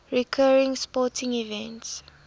recurring sporting events